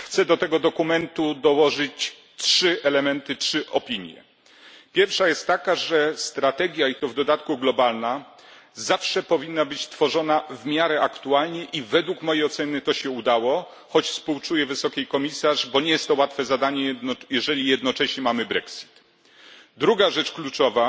Chciałbym do tego dokumentu dodać trzy elementy, trzy opinie po pierwsze strategia, i to w dodatku globalna, zawsze powinna być tworzona w miarę aktualnie i, według mojej oceny, to się udało, choć współczuję wysokiej komisarz, bo nie jest to łatwe zadanie, jeżeli jednocześnie mamy Brexit. Druga rzecz kluczowa